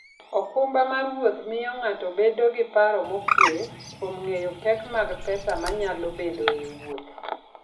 okumba mar wuoth miyo ng'ato bedo gi paro mokuwe kuom ng'eyo pek mag pesa manyalo bedoe e wuoth.